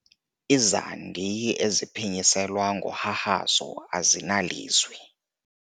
Izandi eziphinyiselwa ngohahazo azinalizwi.